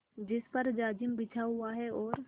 जिस पर जाजिम बिछा हुआ है और